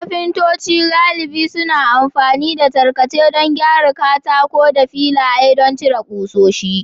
Kafintoci galibi suna amfani da tarkace don gyara katako da filaye don cire ƙusoshi.